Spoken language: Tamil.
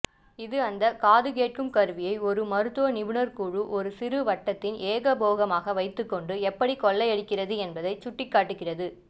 இது அந்தக் காதுகேட்கும் கருவியை ஒரு மருத்துவ நிபுணர்க்குழு ஒரு சிறுவட்டத்தின் ஏகபோகமாக வைத்துக்கொண்டு எப்படி கொள்ளையடிக்கிறது என்பதைச் சுட்டிக்காட்டுகிறது